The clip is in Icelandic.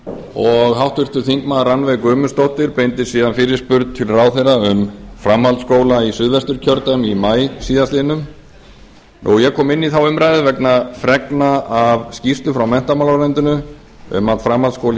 og háttvirtur þingmaður rannveig guðmundsdóttir beindi síðan fyrirspurn til ráðherra um framhaldsskóla í suðvesturkjördæmi í maí síðastliðinn ég kom inn í þá umræðu vegna fregna af skýrslu frá menntamálaráðuneytinu um að framhaldsskóli í